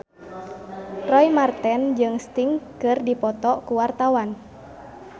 Roy Marten jeung Sting keur dipoto ku wartawan